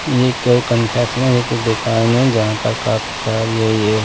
ये एक कन्फेक्शनरी की दुकान है जहां पर काफी सारी है ये--